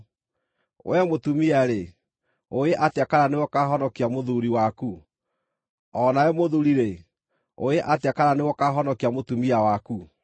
Wee mũtumia-rĩ, ũũĩ atĩa kana nĩwe ũkaahonokia mũthuuri waku? O na wee mũthuuri-rĩ, ũũĩ atĩa kana nĩwe ũkaahonokia mũtumia waku?